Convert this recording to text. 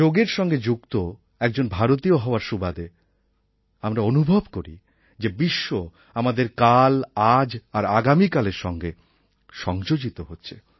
যোগএর সঙ্গে যুক্ত একজন ভারতীয় হওয়ার সুবাদে আমরা অনুভব করি যে বিশ্ব আমাদের কাল আজ আর আগামীকালের সঙ্গে সংযোজিত হচ্ছে